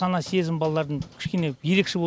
сана сезімі балалардың кішкене ерекше